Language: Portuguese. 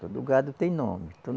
Todo gado tem nome.